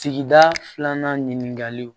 Sigida filanan ɲininkaliw